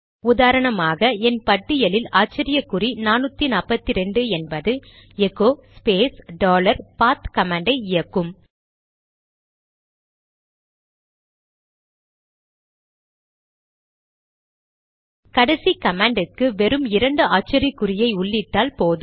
உதாரணமாக என் பட்டியலில் ஆச்சரியக்குறி 442 என்பது எகோ ஸ்பேஸ் டாலர் பாத் கமாண்டை இயக்கும் கடைசி கமாண்ட்க்கு வெறும் இரண்டு ஆச்சரியக்குறியை உள்ளிட்டால் போதும்